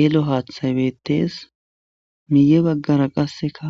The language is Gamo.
Ero haathaybettes miye baggara qasseka